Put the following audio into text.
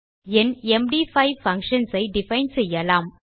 என் எம்டி5 பங்ஷன்ஸ் ஐ டிஃபைன் செய்யலாம்